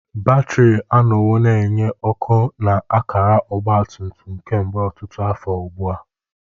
Batrị anọwo na-enye ọkụ na akara ọgba tum tum kemgbe ọtụtụ afọ ugbu a.